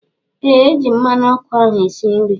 Ee eji m mmanụ ọkụ ahụ esi nri